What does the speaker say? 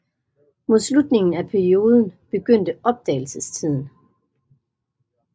Mod slutningen af perioden begyndte opdagelsestiden